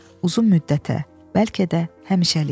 Uzun müddətə, bəlkə də həmişəlik.